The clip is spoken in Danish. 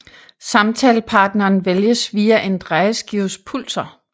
Samtalepartneren vælges via en drejeskives pulser